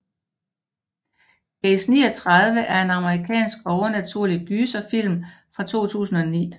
Case 39 er en amerikansk overnaturlig gyserfilm fra 2009